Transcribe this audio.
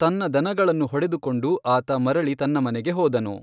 ತನ್ನ ದನಗಳನ್ನು ಹೊಡೆದುಕೊಂಡು ಆತ ಮರಳಿ ತನ್ನ ಮನೆಗೆ ಹೋದನು.